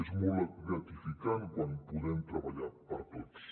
és molt gratificant quan podem treballar per a tots